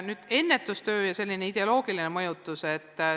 Nüüd ennetustöö ja selline ideoloogiline mõjutus.